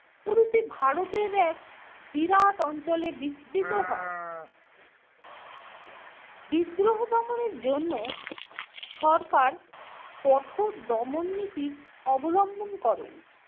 প্রভৃতি ভারতের এক বিরাট অঞ্চলে বিস্তৃত হয়। বিদ্রোহ দমনের জন্য সরকার কঠোর দমন নীতির অবলম্বন করেন।